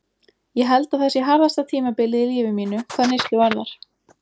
Ég held að það sé harðasta tímabilið í lífi mínu, hvað neyslu varðar.